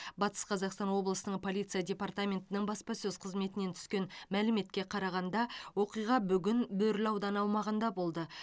батыс қазақстан облысының полиция департаментінің баспасөз қызметінен түскен мәліметке қарағанда оқиға бүгін бөрлі ауданы аумағында болды